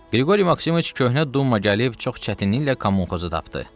Qriqori Maksimoviç köhnə dumma gəlib çox çətinliklə kommunxozu tapdı.